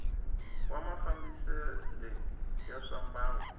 wa mafambisele ya swa mbangu